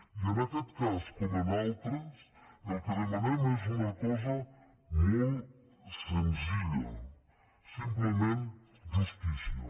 i en aquest cas com en altres el que demanem és una cosa molt senzilla simplement justícia